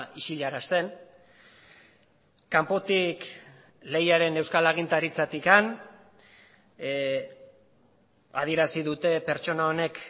isilarazten kanpotik lehiaren euskal agintaritzatik adierazi dute pertsona honek